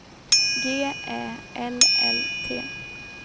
G Ä L L T